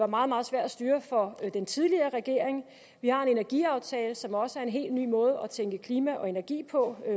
meget meget svær at styre for den tidligere regering vi har en energiaftale som også er en helt ny måde at tænke klima og energi på